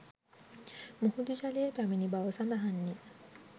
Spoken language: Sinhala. මුහුදු ජලය පැමිණි බව සඳහන්ය